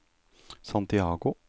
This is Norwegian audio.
Santiago